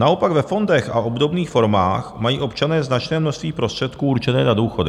Naopak ve fondech a obdobných formách mají občané značné množství prostředků určené na důchody.